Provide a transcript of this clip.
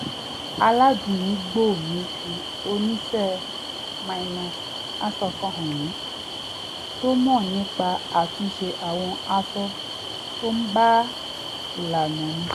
aládùúgbò mi fi oníṣẹ́-aṣọ kan hàn mí tó mọ̀ nipa àtúns̩e àwọn aṣọ tó bá ìlànà mu